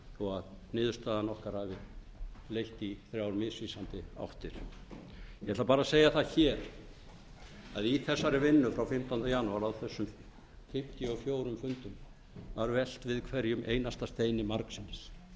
þó að niðurstaða okkar hafi leitt í þrjár misvísandi áttir ég ætla bara að segja það hér að í þessari vinnu frá fimmtándu janúar á þessum fimmtíu og fjórum fundum var velt við hverjum einasta steini margsinnis